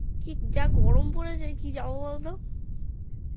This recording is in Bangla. কি যা গরম পড়েছে কি যাবো বলতো